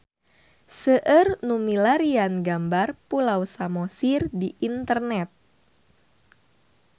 Seueur nu milarian gambar Pulau Samosir di internet